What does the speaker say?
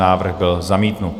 Návrh byl zamítnut.